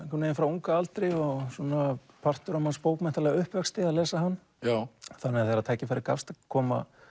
Rimbaud frá unga aldri og svona partur af manns bókmenntalega uppvexti að lesa hann þannig að þegar tækifæri gafst að koma